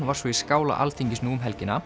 var svo í skála Alþingis nú um helgina